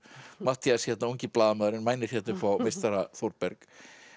Matthías hérna ungi blaðamaðurinn mænir hérna upp á meistara Þórberg